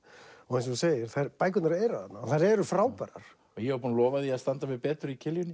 eins og þú segir bækurnar eru þarna og þær eru frábærar og ég er búinn að lofa því að standa mig betur í